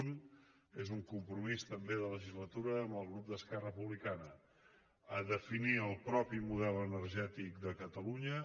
un és un compromís també de legislatura amb el grup d’esquerra republicana definir el propi model energètic de catalunya